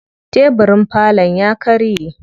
Tebirin falon ya karye.